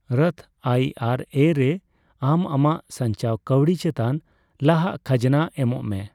ᱨᱚᱛᱷ ᱟᱭᱹ ᱟᱨᱹ ᱮᱹ ᱨᱮ ᱟᱢ ᱟᱢᱟᱜ ᱥᱟᱝᱪᱟᱣ ᱠᱟᱣᱰᱤ ᱪᱮᱛᱟᱱ ᱞᱟᱦᱟ ᱠᱷᱟᱡᱱᱟ ᱮᱢᱚᱜ ᱢᱮ ᱾